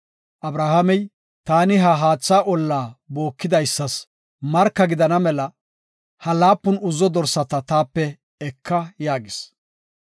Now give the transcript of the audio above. Abrahaamey, “Taani ha haatha olla bookidaysas marka gidana mela, ha laapun uzzo dorsata taape eka” yaagis.